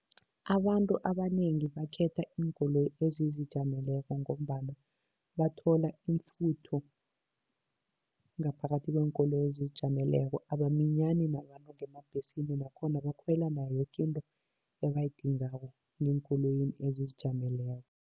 Abantu abanengi bakhetha iinkoloyi ezizijameleko ngombana bathola imifutho ngaphakathi kweenkoloyi ezizijameleko, abaminyani nabantu ngeembhesini nakhona bakhwela nayoke into abayidingako ngeenkoloyini ezizijameleko.